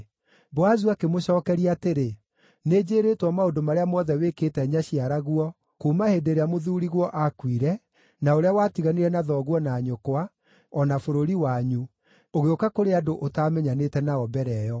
Boazu akĩmũcookeria atĩrĩ, “Nĩnjĩĩrĩtwo maũndũ marĩa mothe wĩkĩte nyaciaraguo kuuma hĩndĩ ĩrĩa mũthuuriguo aakuire, na ũrĩa watiganire na thoguo na nyũkwa, o na bũrũri wanyu, ũgĩũka kũrĩ andũ ũtaamenyanĩte nao mbere ĩyo.